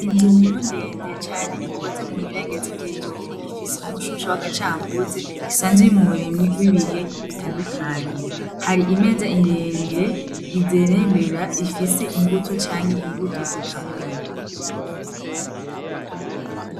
Inzumuru ndende cane ikoze mu birengetsi vy'ivyoma ifise umushusha w'agacanguze esanzuye mu buremwi bw'ibihe bitandukanye hari imeza iremire izerembera ifise imbuto canke imbuto ikamuye.